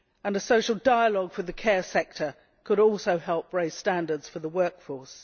A social dialogue for the care sector could also help raise standards for the workforce.